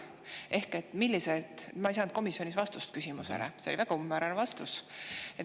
Ma ei saanud komisjonis vastust oma küsimusele, see vastus oli väga umbmäärane.